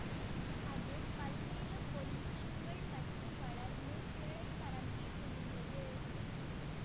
அது பல்வேறு பொல்யூஷன்கள் பற்றி வளர்ந்து கிளை பரப்பி முடிந்தது